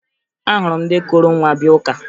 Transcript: Ahụrụ m ndị kuru nwa bịa ụka